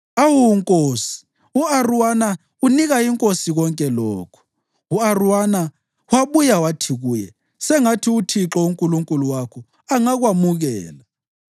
Awu nkosi, u-Arawuna unika inkosi konke lokhu.” U-Arawuna wabuya wathi kuye, “Sengathi uThixo uNkulunkulu wakho angakwamukela.”